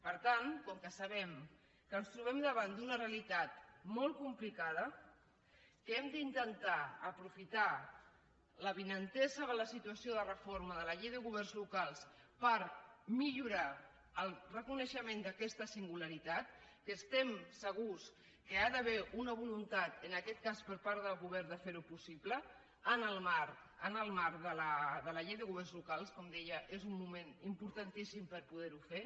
per tant com que sabem que ens trobem davant d’una realitat molt complicada que hem d’intentar aprofitar l’avinentesa de la situació de reforma de la llei de governs locals per millorar el reconeixement d’aquesta singularitat que estem segurs que hi ha d’haver una voluntat en aquest cas per part del govern de fer ho possible en el marc de la llei de governs locals com deia és un moment importantíssim per poder ho fer